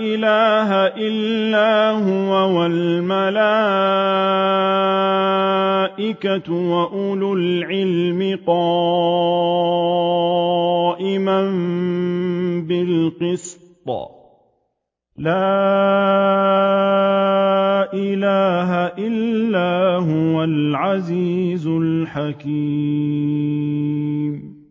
إِلَٰهَ إِلَّا هُوَ وَالْمَلَائِكَةُ وَأُولُو الْعِلْمِ قَائِمًا بِالْقِسْطِ ۚ لَا إِلَٰهَ إِلَّا هُوَ الْعَزِيزُ الْحَكِيمُ